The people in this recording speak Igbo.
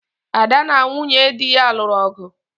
Ada na nwunye di ya lụrụ ọgu